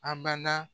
Abada